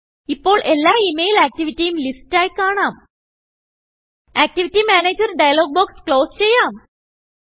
ഇപ്പോൾ എല്ലാ email ആക്റ്റിവിറ്റിയും ലിസ്റ്റായി കാണാം ആക്ടിവിറ്റി Managerഡയലോഗ് ബോക്സ് ക്ലോസ് ചെയ്യാം